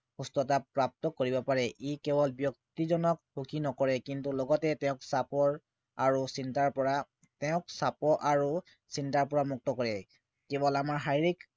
সুস্থতা প্ৰাপ্ত কৰিব পাৰে ই কেৱল ব্য়ক্তিজনক সুখী নকৰে কিন্তু লগতে তেওক চাপ আৰু চিন্তাৰ পৰা তেওক চাপ আৰু চিন্তাৰ পৰা মুক্ত কৰে কেৱল আমাৰ শাৰীৰিক